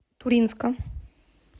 туринска